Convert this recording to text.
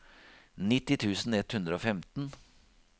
nitti tusen ett hundre og femten